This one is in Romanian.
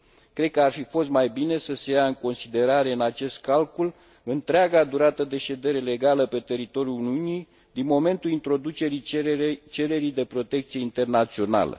Cred că ar fi fost mai bine să se ia în considerare în acest calcul întreaga durată de ședere legală pe teritoriul Uniunii, din momentul introducerii cererii de protecție internațională.